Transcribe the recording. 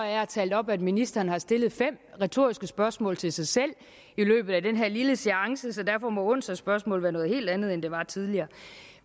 jeg har talt op at ministeren har stillet fem retoriske spørgsmål til sig selv i løbet af den her lille seance så derfor må onsdagsspørgsmål være noget helt andet end det var tidligere